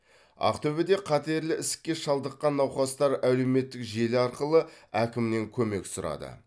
ақтөбеде қатерлі ісікке шалдыққан науқастар әлеуметтік желі арқылы әкімнен көмек сұрады